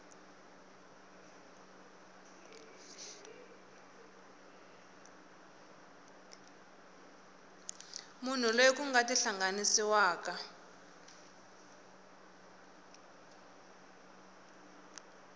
munhu loyi ku nga tihlanganisiwaka